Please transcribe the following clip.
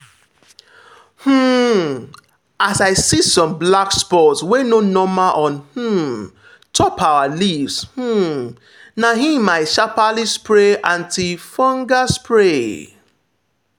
um as i see some black spots wey no normal on um top our leaves um na him i sharply spray anti-fungal spray.